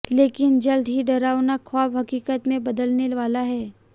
लेकिन जल्द ये डरावना ख़्वाब हक़ीक़त में बदलने वाला है